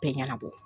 Bɛɛ ɲɛnabɔ